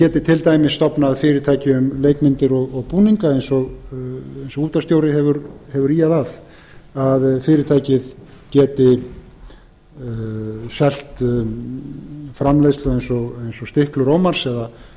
geti til dæmis stofnað fyrirtæki um leikmyndir og búninga eins og útvarpsstjóri hefur ýjað að að fyrirtækið geti selt framleiðslu eins og stiklur ómars eða